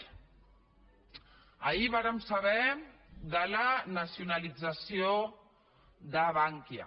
ahir vàrem saber de la nacionalització de bankia